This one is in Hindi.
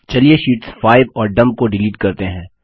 चलिए शीट्स 5 और डम्प को डिलीट करते हैं